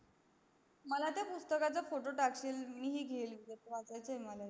मला त्या पुस्तकाचा फोटो तकशील मी पन घेईल